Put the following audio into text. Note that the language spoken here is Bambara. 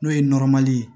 N'o ye ye